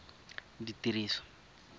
ditiriso